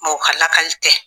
Mɔɔ ka lakali tɛ